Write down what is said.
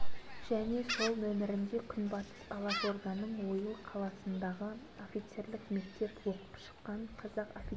бұларға самар комитетінен екі мың мылтық пулемет екі зеңбірек екі автомобиль алып